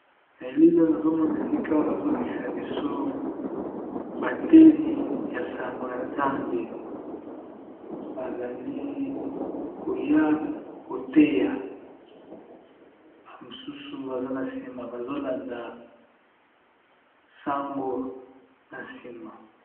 Na elilo na zomona esika bazola kisa biso bateli ya sango ya nzambe bazali koya koteya ba mosusu baza na nsima bazolanda sango na nsima.